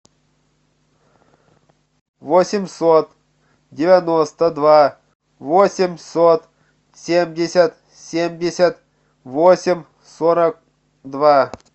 восемьсот девяносто два восемьсот семьдесят семьдесят восемь сорок два